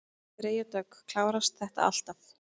Freyja Dögg: Klárast þetta alltaf?